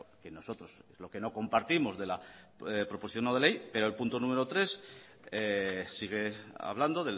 que nosotros lo que no compartimos de la proposición no de ley pero el punto número tres sigue hablando